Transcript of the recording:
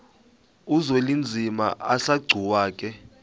uzwelinzima asegcuwa ke